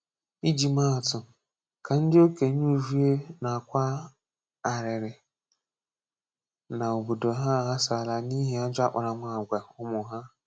Iji maa atụ, ka ndị okenye Uvwie na-akwa arịrị na obodo ha aghasala n’ihi ajọ akparamàgwà ụmụ ha.